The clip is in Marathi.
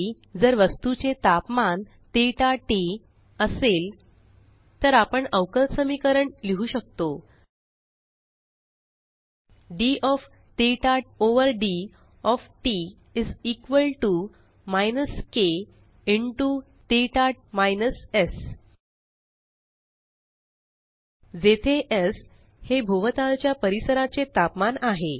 या वेळी जर वस्तूचे तापमान थीटा टीटी असेल तर आपण अवकल समीकरण लिहु शकतो d of theta over d of t t is equal to minus k into theta minus s जेथे Sहे भोवतालच्या परिसराचे तापमान आहे